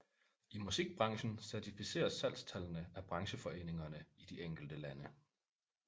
I musikbranchen certificeres salgstallene af brancheforeningerne i de enkelte lande